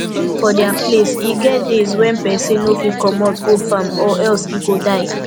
for dia place e get days when person no fit comot go farm or else e go die